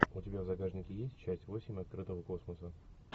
у тебя в загашнике есть часть восемь открытого космоса